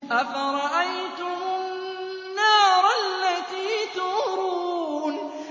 أَفَرَأَيْتُمُ النَّارَ الَّتِي تُورُونَ